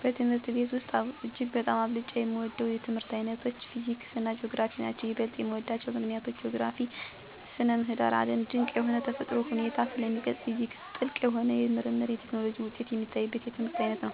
በትምህርት ቤት ውሰጥ እጅግ በጣም አብልጨ የምወዳቸው የትምህርት ዓይነቶች ፊዚክስና ጂኦግራፊ ናቸዉ። ይበልጥ የምወድባቸው ምክንያት ጂኦግራፊ ( ስነ ምድር ) የዓለም ድቅ የሆነ የተፈጥሮ ሁኔታን ስለሚገልጽ፤ ፊዚክስ ጥልቅ የሆኑ የምርምርና የቴክኖሎጂ ውጤት የሚታይበት የትምህርት ዓይነት ነው።